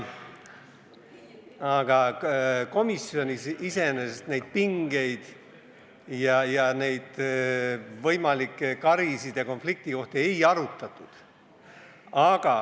Aga komisjonis iseenesest neid pingeid ja võimalikke karisid ja konfliktiohte ei arutatud.